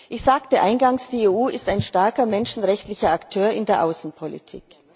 Ich sagte eingangs Die EU ist ein starker menschenrechtlicher Akteur in der Außenpolitik.